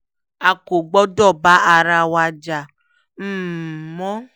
a kò gbọ́dọ̀ bá ara wa jà um mọ́